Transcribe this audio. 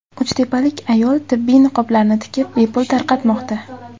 Uchtepalik ayol tibbiy niqoblarni tikib, bepul tarqatmoqda .